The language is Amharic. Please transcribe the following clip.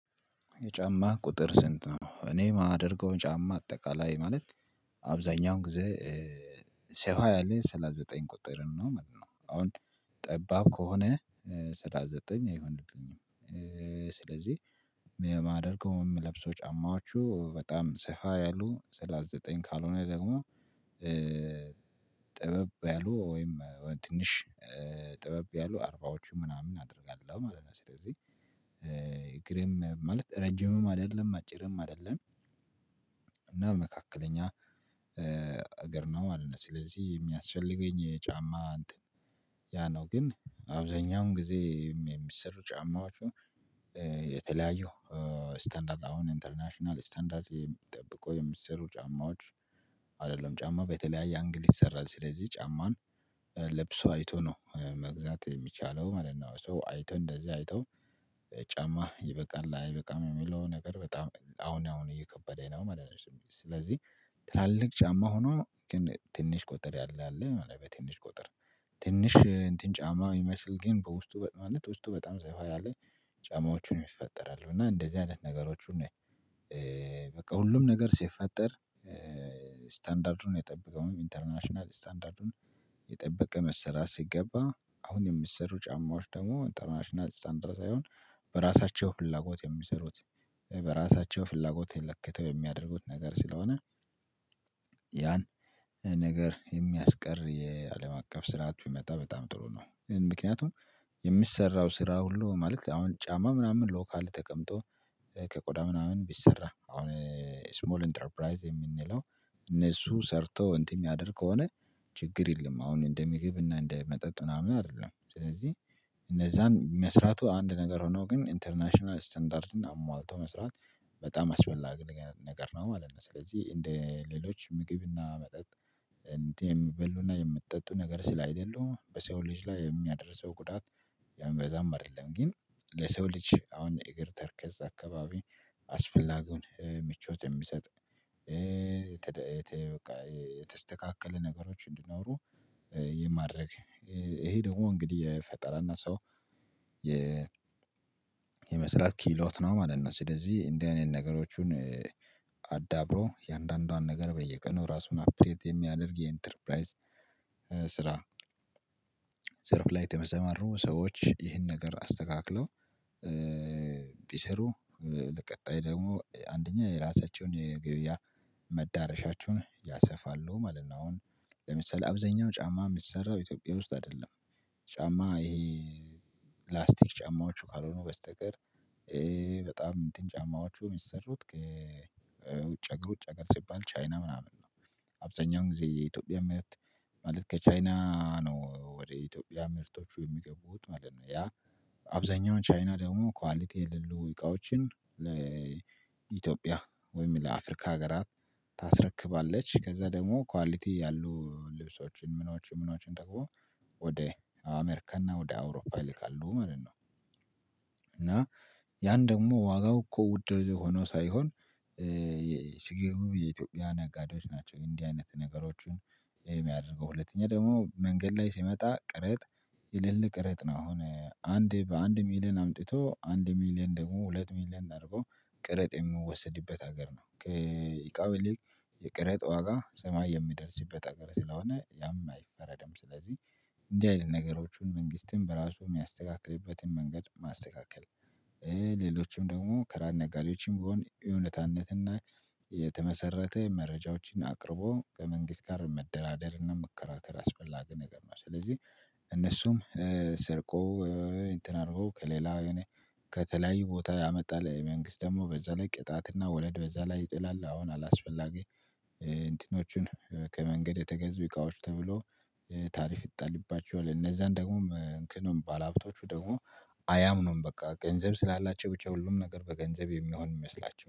የጫማ ቁጥር ስንት ነው? እኔ የማደርገው ጫማ አጠቃላይ ማለት አብዛኛው ጊዜ ሰፋ ያለ ሰላሳ ዘጠኝ ቁጥር ነው ማለት ነው። አሁን ጠባብ ከሆነ ሰላሳ ዘጠኝ አይሆነኝም ስለዚህ የማደርገው የምለብሰው ጫማዎቹ በጣም ሰፋ ያሉ ሰላሳ ዘጠኝ ካልሆነ ደግሞ ጠበብ ያሉ ወይም ትንሽ ጠበብ ያሉ አርባዎቹ ምናምን አደርጋለሁ ማለት ነው። ስለዚህ እግሬም ማለት ረጅምም አይደለም አጭርም አይደለም እና መካከለኛ እገር ነው ማለት ነው። ፅስለዚህ የሚያስፈልገኝ ጫማ እንትን ያ ነው ግን አብዛኛውን ጊዜ የሚሰሩ ጫማዎቹ የተለያዩ ስታንዳርድ አሁን ኢንተርናሽናል ስታንዳርድ ጠብቀው የሚሰሩ ጫማዎች አይደለም ጫማ በተለያየ አንግል ይሰራል ስለዚህ ጫማን ለብሶ አይቶ ነው መግዛት የሚቻለው ማለት ነው። ሰው አይቶ እንደዚህ አይቶ ጫማ ይበቃል አይበቃም የሚለው ነገር በጣም አሁን አሁን እየከበደ ነው ማለት ነው። ስለዚህ ትላልቅ ጫማ ሆኖ ግን ትንሽ ቁጥር ያለ አለ ማለት በትንሽ ቁጥር ትንሽ እንትን ጫማ ሚመስል ግን በውስጡ ማለት ውስጡ በጣም ሰፋ ያለ ያለ ጫማዎቹን ይፈጠራሉ እና እንደዚህ አይነት ነገሮቹን ነው በቃ ሁሉም ነገር ሲፈጠር ስታንዳርዱን የጠበቀውም ኢንተርናሽናል ስታንዳርዱን የጠበቀ መሰራት ሲገባ አሁን የሚሰሩ ጫማዎች ደግሞ ኢንተርናሽናል ስታንዳራርድ ሳይሆን በራሳቸው ፍላጎት የሚሰሩት በራሳቸው ፍላጎት ለክተው የሚያደርጉት ነገር ስለሆነ ያን ነገር የሚያስቀር የአለም አቀፍ ስርዓት ቢመጣ በጣም ጥሩ ነው። ምክንያቱም የሚሰራው ስራ ሁሉ ማለት አሁን ጫማ ምናምን ሎካል ተቀምጦ ከቆዳ ምናምን ቢሰራ አሁን እስሞል ኢንተርፕራይዝ የምንለው እነሱ ሰርቶ እንትን የሚያደርግ ከሆነ ችግር የለም አሁን እንደ ምግብ እና እንደ መጠጥ ምናምን አይደለም። ስለዚህ እነዛን መስራቱ አንድ ነገር ሆኖ ግን ኢንተርናሽናል ስታንዳርድን አሟልቶ መስራት በጣም አስፈላጊ ነገር ነው ማለት ነው። ስለዚህ እንደ ሌሎች ምግብና መጠጥ እንደ የሚበሉና የሚትጠጡ ነገር ስለ አይደሉ በሰው ልጅ ላይ የሚያደርሰው ጉዳት ያም በዛም አይደለም ግን ለሰው ልጅ አሁን የእግር ተረከዝ አካባቢ አስፈላጊውን ምቾት የሚሰጥ የተስተካከለ ነገሮች እንዲኖሩ የማድረግ ይሄ ደግሞ እንግዲህ የፈጠራና ሰው የመስራት ኪህሎት ነው ማለት ነው። ስለዚህ እንዲህ አይነት ነገሮችን አዳብሮ እያንዷንዷን ነገር በየቀኑ ራሱን አፕዴት የሚያደርግ የኢንተርፕራይዝ ስራ ዘርፍ ላይ የተሰማሩ ሰዎች ይህን ነገር አስተካክለው ቢሰሩ ለቀጣይ ደግሞ አንደኛ የራሳቸውን የገብያ መዳረሻቸውን ያሰፋሉ ማለት ነው አሁን ለምሳሌ አብዛኛው ጫማ የሚሰራው ኢትዮጵያ ውስጥ አይደለም ጫማ ይሄ ፕላስቲክ ጫማዎቹ ካልሆኑ በስተቀር በጣም እንትን ጫማዎቹ የሚሰሩት ከውጭ ሀገር ውጭ ሀገር ሲባል ቻይና ምናምን ነው። አብዛኛው ጊዜ የኢትዮጵያ ምርት ማለት ከቻይና ነው ወደ ኢትዮጵያ ምርቶቹ የሚገቡት ማለት ነው። ያ አብዛኛው ቻይና ደግሞ ኳሊቲ የሌለው እቃዎችን ለኢትዮጵያ ወይም ለአፍሪካ ሀገራት ታስረክባለች ከዛ ደግሞ ኳሊቲ ያሉ ልብሶችን ምኖችን ምኖችን ደግሞ ወደ አሜሪካና ወደ አውሮፓ ይልካሉ ማለት ነው። እና ያን ደግሞ ዋጋው እኮ ውድ ሆኖ ሳይሆን ሲግብግብ የኢትዮጵያ ነጋዴዎች ናቸው እንዲህ አይነት ነገሮችን የሚያደርገው፤ ሁለተኛ ደግሞ መንገድ ላይ ሲመጣ ቀረጥ የሌለ ቀረጥ ነው አሁን አንዴ በአንድ ሚሊየን አምጥቶ አንድ ሚሊየን ደግሞ ሁለት ሚሊየን አድርጎ ቀረጥ የምወሰድበት ሀገር ነው ከእቃው ይሊቅ የቀረጥ ዋጋ ሰማይ የሚደርስበት ሀገር ስለሆነ ያም አይፈረድም ስለዚህ እንዲህ አይነት ነገሮቹን መንግስት በራሱ የሚያስተካክልበትን መንገድ ማስተካከል ሌሎችም ደግሞ ከራን ነጋዴዎችም ቢሆን የእውነታነትና የተመሰረተ መረጃዎችን አቅርቦ ከመንግስት ጋር መደራደርና መከራከር አስፈላጊ ነገር ነው ስለዚህ እነሱም ሰርቆ እንትን አድርጎ ከሌላ የሆነ ከተለያዩ ቦታ ያመጣል መንግስት ደግሞ በዛ ላይ ቅጣትና ወለድ በዛ ላይ ይጥላል አሁን አላስፈላጊ እንትኖቹን ከመንገድ የተገዙ እቃዎች ተብሎ ታሪፍ ይጣልባቸዋል እነዛን ደግሞም መክኑም ባለሀብቶቹ ደግሞ አያምኑም በቃ ገንዘብ ስላላቸው ብቻ ሁሉም ነገር በገንዘብ የሚሆን ይመስላቸዋል